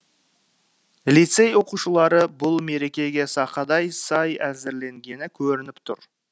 лицей оқушылары бұл мерекеге сақадай сай әзірленгені көрініп тұр